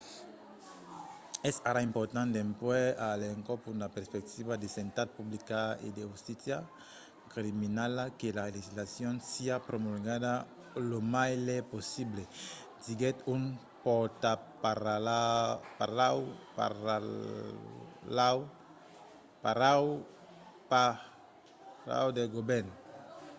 "es ara important dempuèi a l’encòp una perspectiva de santat publica e de justícia criminala que la legislacion siá promulgada lo mai lèu possible diguèt un pòrtaparaula del govèrn